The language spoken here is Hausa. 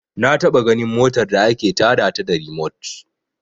Na taɓa ganin motar da ake ta da ta da rimot